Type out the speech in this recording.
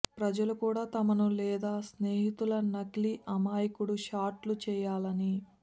ప్రజలు కూడా తమను లేదా స్నేహితుల నకిలీ అమాయకుడు షాట్లు చేయాలని